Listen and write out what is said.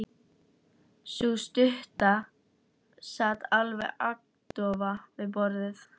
Sú stutta sat alveg agndofa við borðið.